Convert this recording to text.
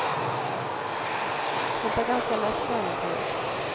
Hon tar ganska lätt på äventyret.